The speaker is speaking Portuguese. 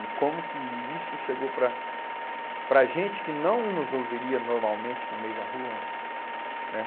E como que isso chegou para para a gente que não nos ouviria normalmente no meio da rua, né?